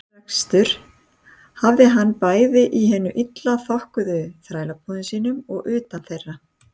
Iðnrekstur hafði hann hafið bæði í hinum illa þokkuðu þrælabúðum sínum og utan þeirra.